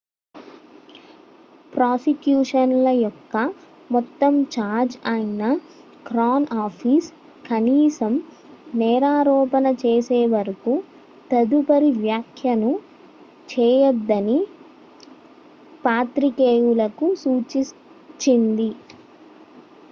prosecution ల యొక్క మొత్తం ఛార్జ్ అయిన క్రౌన్ ఆఫీస్ కనీసం నేరారోపణ చేసేవరకు తదుపరి వ్యాఖ్యను చేయదని పాత్రికేయులకు సూచించింది